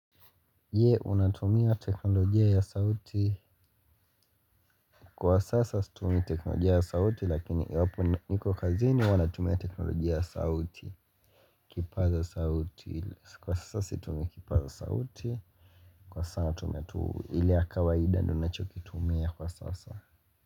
Ye unatumia teknolojia ya sauti Kwa sasa situmii teknolojia ya sauti lakini iwapo niko kazini huwa natumia teknolojia ya sauti kwa sasa situmii kipaza sauti Kwa sa natumia tu ili ya kawaida ndio nachokitumia kwa sasa.